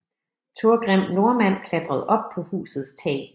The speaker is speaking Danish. Torgrim Nordmand klatrede op på husets tag